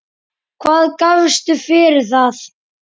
Hvað gafstu fyrir það?